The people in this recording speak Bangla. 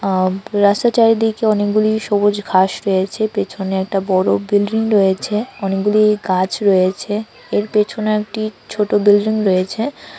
আরা রাস্তার চারিদিকে অনেকগুলি সবুজ ঘাস রয়েছে পেছনে একটা বড় বিল্ডিং রয়েছে অনেকগুলি গাছ রয়েছে পেছনে একটি ছোট বিল্ডিং রয়েছে।